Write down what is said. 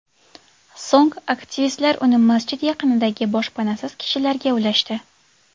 So‘ng aktivistlar uni masjid yaqinidagi boshpanasiz kishilarga ulashdi.